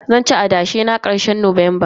Zanci adashe na karshen watan Nuwamba.